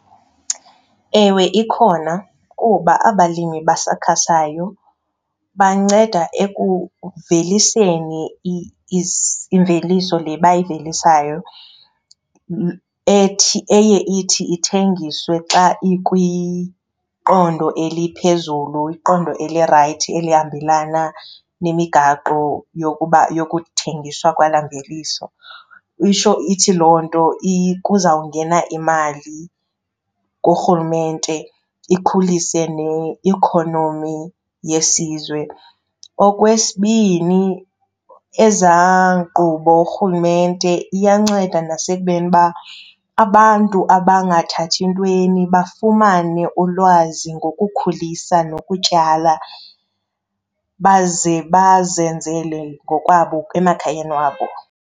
Ewe, ikhona kuba abalimi basakhasayo banceda ekuveliseni imveliso le bayivelisayo ethi eye ithi ithengiswe xa ikwiqondo eliphezulu, iqondo elirayithi elihambelana nemigaqo yokuba yokuthengiswa kwalaa mveliso. Isho ithi loo nto kuzawungena imali kurhulumente ikhulise neikhonomi yesizwe. Okwesibini ezaa nkqubo urhulumente iyanceda nasekubeni uba abantu abangathathi ntweni bafumane ulwazi ngokukhulisa nokutyala baze bazenzele ngokwabo emakhayeni wabo.